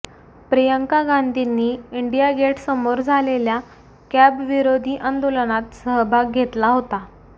प्रियंका गांधींनी इंडिया गेटसमोर झालेल्या कॅबविरोधी आंदोलनात सहभाग घेतला